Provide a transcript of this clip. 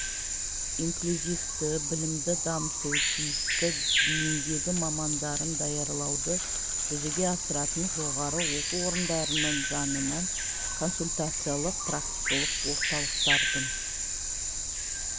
инклюзивті білімді дамыту тиісті бейіндегі мамандарын даярлауды жүзеге асыратын жоғары оқу орындарының жанынан консультациялық-практикалық орталықтардың